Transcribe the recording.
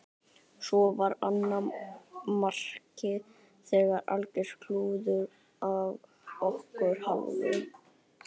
Svo var annað markið þeirra algjört klúður af okkar hálfu.